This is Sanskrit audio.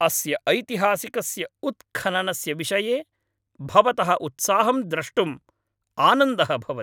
अस्य ऐतिहासिकस्य उत्खननस्य विषये भवतः उत्साहं द्रष्टुम् आनन्दः भवति।